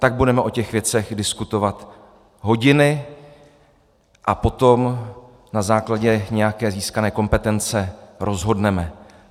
Tak budeme o těch věcech diskutovat hodiny a potom na základě nějaké získané kompetence rozhodneme.